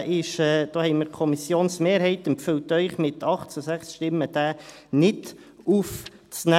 Da empfiehlt Ihnen die Kommissionsmehrheit mit 8 zu 6 Stimmen, diesen Antrag nicht aufzunehmen.